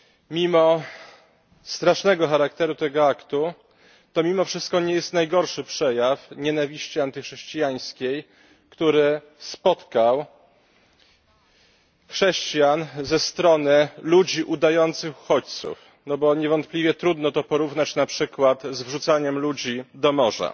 Mimo strasznego charakteru tego aktu, to mimo wszystko nie jest to najgorszy przejaw nienawiści antychrześcijańskiej, który spotkał chrześcijan ze strony ludzi udających uchodźców, gdyż niewątpliwie trudno to porównać na przykład z wrzucaniem ludzi do morza.